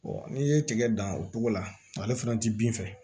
n'i ye tigɛ dan o togo la ale fana ti bin fɛ